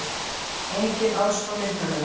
Engin aðstoð myndavéla